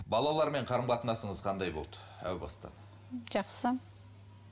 балаларымен қарым қатынасыңыз қандай болды әу баста жақсы